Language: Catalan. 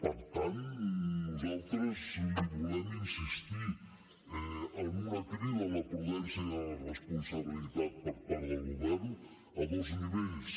per tant nosaltres li volem insistir en una crida a la prudència i a la responsabilitat per part del govern a dos nivells